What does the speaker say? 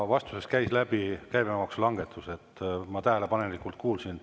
Vastusest käis läbi käibemaksulangetused, ma tähelepanelikult kuulasin.